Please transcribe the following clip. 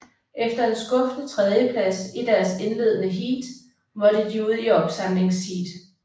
Efter en skuffende tredjeplads i deres indledende heat måtte de ud i opsamlingsheat